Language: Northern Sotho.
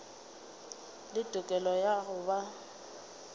le tokelo ya go ba